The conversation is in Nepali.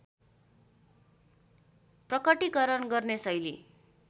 प्रकटिकरण गर्ने शैली